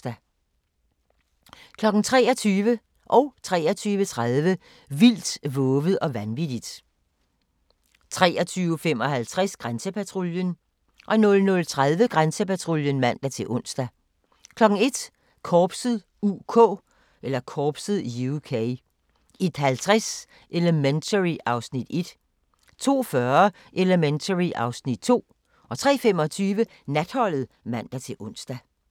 23:00: Vildt, vovet og vanvittigt 23:30: Vildt, vovet og vanvittigt 23:55: Grænsepatruljen 00:30: Grænsepatruljen (man-ons) 01:00: Korpset (UK) 01:50: Elementary (Afs. 1) 02:40: Elementary (Afs. 2) 03:25: Natholdet (man-ons)